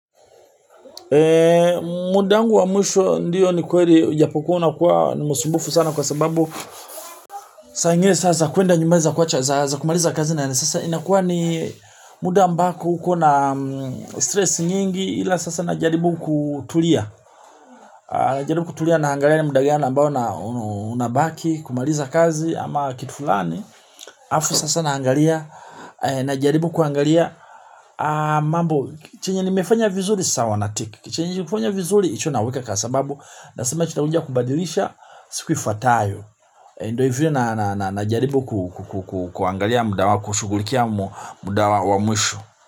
Muda wangu wa mwisho ndiyo ni kweli. Ujapokuwa unakuwa ni msumbufu sana kwa sababu saa ingine sasa kuenda nyumbani za kuacha. Sasa kumaliza kazi na ya sasa inakuwa ni muda ambao ukona stress nyingi. Hila sasa najaribu kutulia. Najaribu kutulia na naangalia ni muda gani ambao na unabaki kumaliza kazi ama kitu fulani. Alafu sasa naangalia. Najaribu kuangalia mambo, chenye nimefanya vizuri. Sawa na tick chenye kufanya vizuri, hicho naweka kasababu nasema nitakuja kubadilisha siku ifuatayo ndo hivyo najaribu kuangalia muda wa, kushugulikia muda wa wa mwisho.